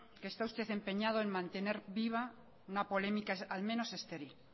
está usted empeñado en mantener viva una polémica al menos estéril